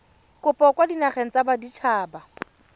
kopo kwa dinageng tsa baditshaba